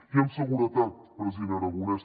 i amb seguretat president aragonès